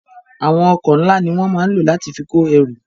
Àwọn ọkọ̀ ńla ni wọn máa ń lò láti fi kò ẹrú